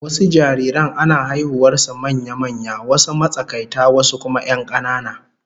Wasu jariran ana haihuwar su manya-manya, wasu matsakaita wasu kuma 'yan kanana